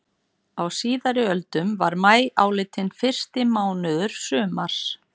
Á síðari öldum var maí álitinn fyrsti mánuður sumars.